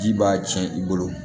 Ji b'a tiɲɛ i bolo